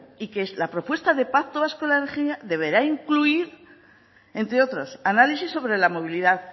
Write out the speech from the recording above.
y que es la propuesta del pacto vasco de la energía deberá incluir entre otros análisis sobre la movilidad